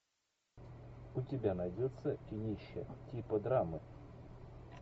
у тебя найдется кинище типа драмы